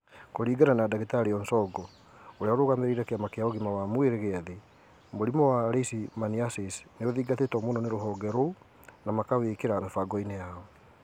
Kũringana na Dagitari Onsongo, ũrĩa ũrũgamĩrĩire Kĩama kĩa Ũgima wa Mwĩrĩ gĩa Thĩ, mũrimũ wa leishmaniasis nĩ ũthingatĩtwo muno Ni ruhonge rũu na ma kawikĩra mĩbangoini yao.